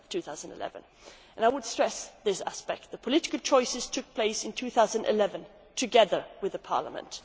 2011. I would stress this aspect the political choices were made in 2011 together with Parliament.